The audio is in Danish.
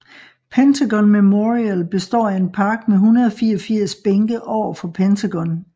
Pentagon Memorial består af en park med 184 bænke overfor Pentagon